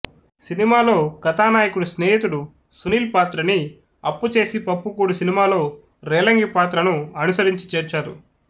సినిమాలో కథానాయకుడి స్నేహితుడు సునీల్ పాత్రని అప్పుచేసి పప్పుకూడు సినిమాలో రేలంగి పాత్రను అనుసరించి చేర్చారు